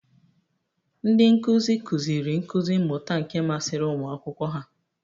Ndị nkuzi, kụziri nkuzi mmuta nke masịrị ụmụ akwụkwọ ha.